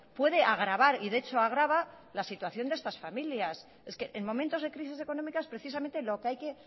puede agravar y de hecho agrava la situación de estas familias es que en momentos de crisis económicas precisamente lo que hay que